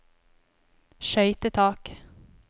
skøytetak